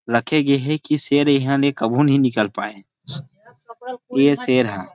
रखे गे हे की शेर यहा से कभू नहीं निकल पाए ये शेर ह।